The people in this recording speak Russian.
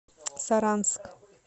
саранск